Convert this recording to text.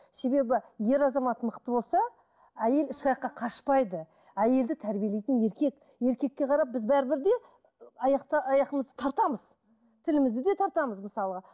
себебі ер азамат мықты болса әйел қашпайды әйелді тәрбиелейтін еркек еркекке қарап біз бәрібір де аяқты аяғымызды тартамыз тілмізді де тартамыз мысалға